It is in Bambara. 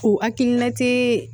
O hakilina te